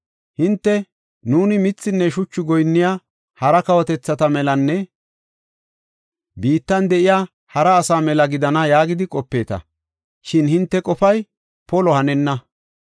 Hinte, ‘Nuuni mithinne shuchu goyinniya hara kawotethata melanne biittan de7iya hara asaa mela gidana yaagidi qopeeta. Shin hinte qofay polo hanenna.’ ”